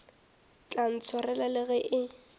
tla ntshwarela le ge e